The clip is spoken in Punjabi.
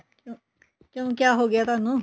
ਕਿਉਂ ਕਿਆ ਹੋਗਿਆ ਤੁਹਾਨੂੰ